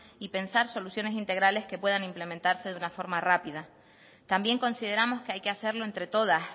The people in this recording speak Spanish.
y pensar soluciones integrales que puedan implementarse de una forma rápida también consideramos que hay que hacerlo entre todas